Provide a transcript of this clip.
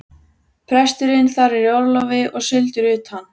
Presturinn þar er í orlofi og sigldur utan.